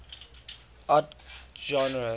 art genres